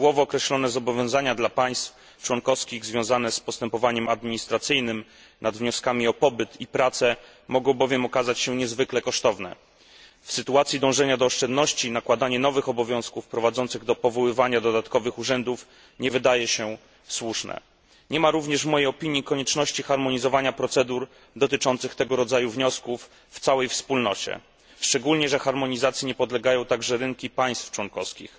Szczegółowo określone zobowiązania dla państw członkowskich związane z postępowaniem administracyjnym nad wnioskami o pobyt i pracę mogą bowiem okazać się niezwykle kosztowne. W sytuacji, gdy dążymy do oszczędności, nakładanie nowych obowiązków prowadzących do powoływania dodatkowych urzędów nie wydaje się słuszne. Nie ma również, moim zdaniem, konieczności harmonizowania procedur dotyczących tego rodzaju wniosków w całej Wspólnocie, szczególnie, że harmonizacji nie podlegają także rynki państw członkowskich.